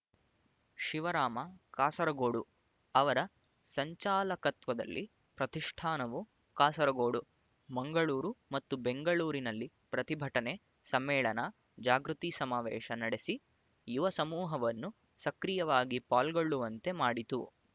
ಶಿವರಾಮ ಕಾಸರಗೋಡು ಅವರ ಸಂಚಾಲಕತ್ವದಲ್ಲಿ ಪ್ರತಿಷ್ಠಾನವು ಕಾಸರಗೋಡು ಮಂಗಳೂರು ಮತ್ತು ಬೆಂಗಳೂರಿನಲ್ಲಿ ಪ್ರತಿಭಟನೆ ಸಮ್ಮೇಳನ ಜಾಗೃತಿ ಸಮಾವೇಶ ನಡೆಸಿ ಯುವ ಸಮೂಹವನ್ನು ಸಕ್ರಿಯವಾಗಿ ಪಾಲ್ಗೊಳ್ಳುವಂತೆ ಮಾಡಿತು